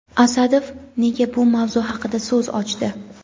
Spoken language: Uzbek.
Asadov nega bu mavzu haqida so‘z ochdi?.